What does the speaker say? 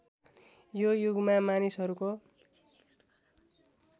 यो युगमा मानिसहरूको